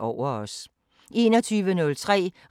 Samme programflade som øvrige dage